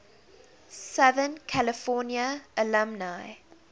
southern california alumni